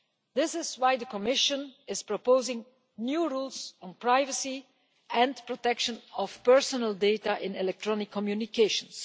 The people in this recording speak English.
This is why the Commission is proposing new rules on privacy and the protection of personal data in electronic communications.